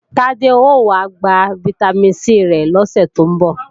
Tádé ó wá gba Vitamin C rẹ̀ lọ́sè tó ń bọ̀